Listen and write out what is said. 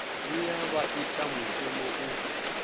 vhuya vha ita mushumo u